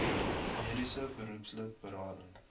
mediese beroepslid berading